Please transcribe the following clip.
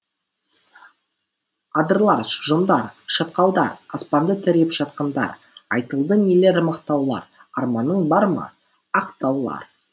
адырлар жондар шатқалдар аспанды тіреп жатқандар айтылды нелер мақтаулар арманың бар ма ақ таулар